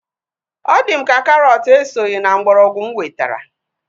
Ọ di m ka karọt esoghị na mgbọrọgwụ mụ wetara